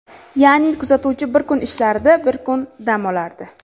Ya’ni kuzatuvchi bir kun ishlardi, bir kun dam olardi.